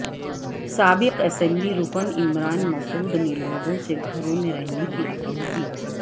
سابق اسمبلی رکن عمران مسعود نے لوگوں سے گھروں میں رہنے کی اپیل کی